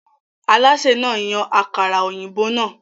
Alásè náà yan àkàrà-òyìnbó náà.